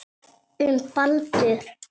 Um Baldur.